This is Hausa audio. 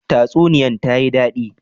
Tsasuniyan ta yi dadi.